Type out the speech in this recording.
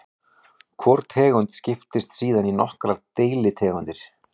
Hvor tegund skiptist síðan í nokkrar deilitegundir.